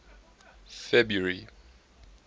february